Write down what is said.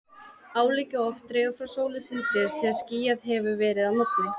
Álíka oft dregur frá sólu síðdegis þegar skýjað hefur verið að morgni.